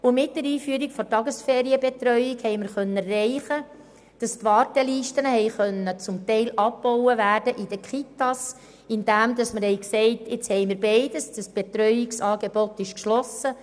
Mit der Einführung der Tagesferienbetreuung konnten wir erreichen, dass die Wartelisten für die Kitas teilweise abgebaut werden konnten, indem wir sagten, wir hätten nun beides und das Betreuungsangebot sei nun geschlossen.